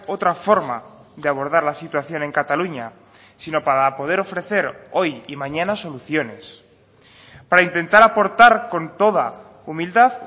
otra forma de abordar la situación en cataluña sino para poder ofrecer hoy y mañana soluciones para intentar aportar con toda humildad